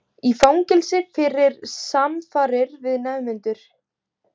Í fangelsi fyrir samfarir við nemendur